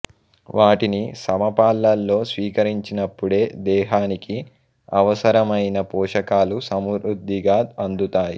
వాటిని సమపాళ్లలో స్వీకరించినప్పుడే దేహానికి అవసరమైన పోషకాలు సమృద్ధిగా అందుతాయి